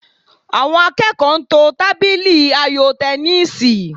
Àwọn akẹ́kọ̀ọ́ ń to tábìlì ayò tẹníìsì